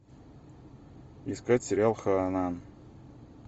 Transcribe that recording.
искать сериал ханна